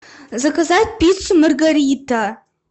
заказать пиццу маргарита